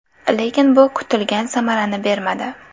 Lekin bu kutilgan samarani bermadi.